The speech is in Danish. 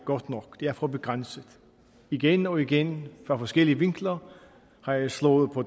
godt nok det er for begrænset igen og igen fra forskellige vinkler har jeg slået på